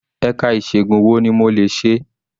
Ẹ̀ka ìṣègun wo ni mo lè ṣe?